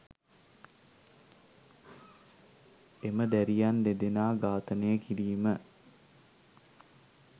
එම දැරියන් දෙදෙනා ඝාතනය කිරීම